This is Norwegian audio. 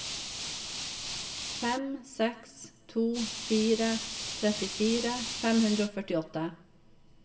fem seks to fire trettifire fem hundre og førtiåtte